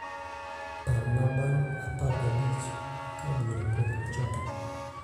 parna bang aparga bich ka bura pok ochako